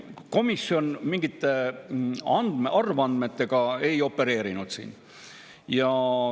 Komisjon mingite arvandmetega siin ei opereerinud.